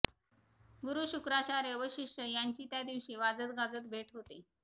गुरू शुक्राचार्य व शिष्य यांची त्या दिवशी वाजतगाजत भेट होते